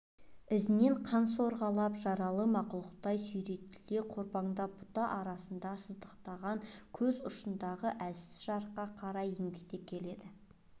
ізінен қан сорғалаған жаралы мақұлықтай сүйретіле қорбаңдап бұта арасынан сыздықтаған көз ұшындағы әлсіз жарыққа қарай еңбектеп келеді